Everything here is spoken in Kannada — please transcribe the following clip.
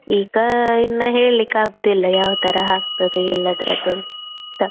ಈಗ ಇನ್ನ ಹೆಳಿಕ್ ಆಗುದಿಲ್ಲ ಯಾವತಾರ ಆಗ್ತದೆ ಎಲ್ಲಾದ್ರದ್ದು ಅಂತ .